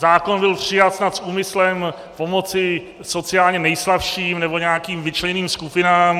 Zákon byl přijat snad s úmyslem pomoci sociálně nejslabším nebo nějakým vyčleněným skupinám.